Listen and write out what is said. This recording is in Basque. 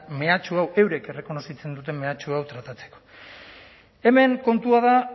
mehatxu hau eurek errekonozitzen duten mehatxu hau tratatzeko hemen kontua da